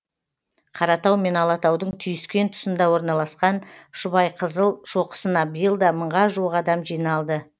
қаратау мен алатаудың түйіскен тұсында орналасқан шұбайқызыл шоқысына биыл да мыңға жуық адам жиналды